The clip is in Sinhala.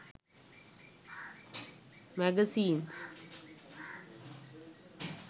magazines